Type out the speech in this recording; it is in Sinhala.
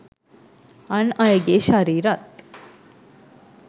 අන් අයගේ ශරීරත්